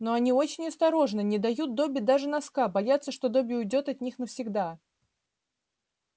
но они очень осторожны не дают добби даже носка боятся что добби уйдёт от них навсегда